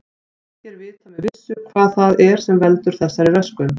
Ekki er vitað með vissu hvað það er sem veldur þessari röskun.